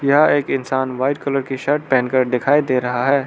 यह एक इंसान व्हाइट कलर की शर्ट पहन कर दिखाई दे रहा है।